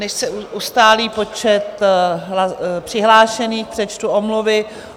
Než se ustálí počet přihlášených, přečtu omluvy.